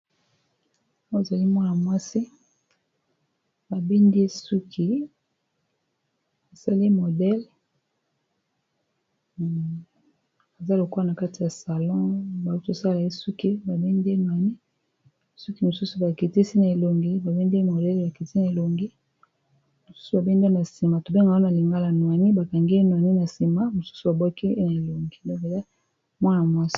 oye ezali mwana mwasi sala ye modele eza lokwa na kati ya salon bao tosala ye suki babende ani suki mosusu biti a elongi babendee modele bakiti a elongi mosusu babende na nsima tobenge wana lingala noini bakangee noani n sima msusu baboki na elongi ws